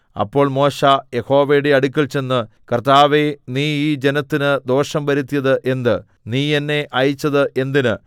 അപ്പോൾ മോശെ യഹോവയുടെ അടുക്കൽ ചെന്ന് കർത്താവേ നീ ഈ ജനത്തിന് ദോഷം വരുത്തിയത് എന്ത് നീ എന്നെ അയച്ചത് എന്തിന്